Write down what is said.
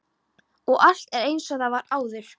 Og allt er einsog það var áður.